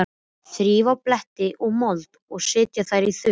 Þrífa af bleytu og mold og setja þær í þurrt.